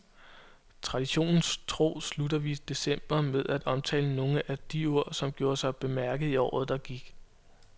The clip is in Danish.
Traditionen tro slutter vi december med at omtale nogle af de ord, som gjorde sig bemærket i året, der gik.